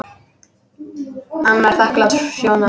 En var þakklát Sjóna.